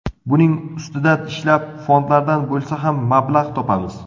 Buning ustida ishlab, fondlardan bo‘lsa ham mablag‘ topamiz.